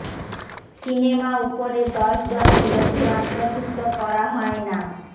cinema উপরের দশ জনের মধ্যে অন্তর্ভুক্ত করা হয় না